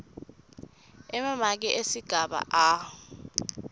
emamaki esigaba a